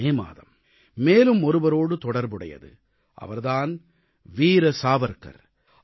இந்த மே மாதம் மேலும் ஒருவரோடு தொடர்புடையது அவர் தான் வீர சாவர்க்கர்